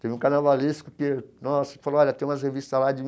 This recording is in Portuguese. Teve um carnavalesco que nossa falou olha tem umas revistas lá de.